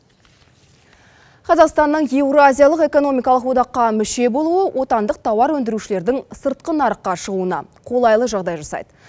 қазақстанның еуразиялық экономикалық одаққа мүше болуы отандық тауар өндірушілердің сыртқы нарыққа шығуына қолайлы жағдай жасайды